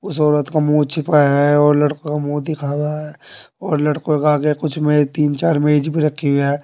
उस औरत का मुंह छुपाया है और लड़का मुंह दिखा हुआ है और लड़कों का आगे कुछ में तीन चार मेज भी रखी हुई है।